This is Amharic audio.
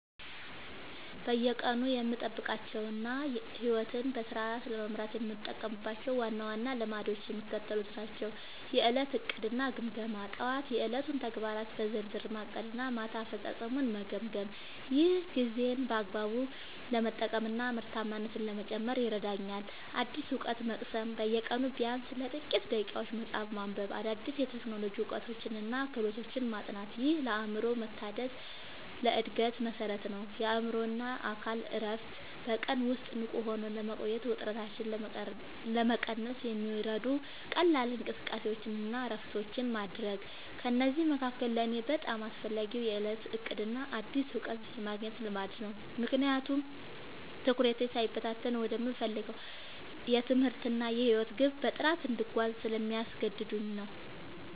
በየቀኑ የምጠብቃቸውና ሕይወቴን በስርዓት ለመምራት የምጠቀምባቸው ዋና ዋና ልማዶች የሚከተሉት ናቸው፦ የዕለት ዕቅድና ግምገማ፦ ጠዋት የዕለቱን ተግባራት በዝርዝር ማቀድና ማታ አፈጻጸሜን መገምገም። ይህ ጊዜን በአግባቡ ለመጠቀምና ምርታማነትን ለመጨመር ይረዳኛል። አዲስ እውቀት መቅሰም፦ በየቀኑ ቢያንስ ለጥቂት ደቂቃዎች መጽሐፍ ማንበብ፣ አዳዲስ የቴክኖሎጂ እውቀቶችንና ክህሎቶችን ማጥናት። ይህ ለአእምሮ መታደስና ለዕድገት መሠረት ነው። የአእምሮና አካል እረፍት፦ በቀን ውስጥ ንቁ ሆኖ ለመቆየትና ውጥረትን ለመቀነስ የሚረዱ ቀላል እንቅስቃሴዎችንና እረፍቶችን ማድረግ። ከእነዚህ መካከል ለእኔ በጣም አስፈላጊው የዕለት ዕቅድና አዲስ እውቀት የማግኘት ልማድ ነው፤ ምክንያቱም ትኩረቴ ሳይበታተን ወደምፈልገው የትምህርትና የሕይወት ግብ በጥራት እንድጓዝ ስለሚያደርጉኝ።